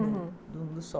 Uhum. Do dos